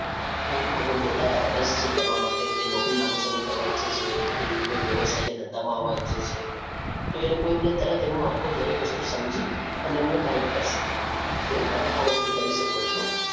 આગળ જતાં રસ છે કરવા માટે એ નોકરી લાંબો સમય કરવા ઈચ્છે છે કે કોઈ વ્યવસાય કે ધંધા માં આવવા ઈચ્છે છે, તો એ લોકો એમને તરત એમની આખું દરેક વસ્તુ સમજી એમને guide કરશે કે તમે આ વસ્તુ કરી શકો છો.